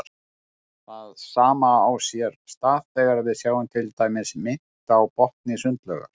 Það sama á sér stað þegar við sjáum til dæmis mynt á botni sundlaugar.